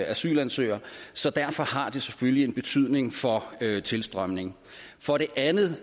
asylansøger så derfor har det selvfølgelig en betydning for tilstrømningen for det andet